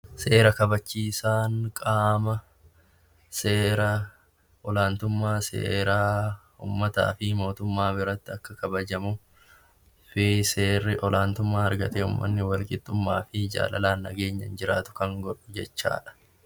Seera kabachiisaan nama olaantummaa seeraa uummataa fi mootummaa biratti Akka kabajamuu seerri olaantummaa argatee yommuu inni wal qixxummaa fi uummanni nageenyaan jiraatu jechuudha